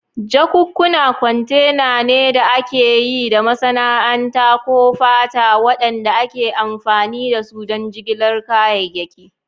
Jakunkuna kwantena ne da aka yi da masana'anta ko fata waɗanda ake amfani da su don jigilar kayayyaki.